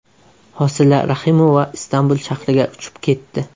Hosila Rahimova Istanbul shahriga uchib ketdi.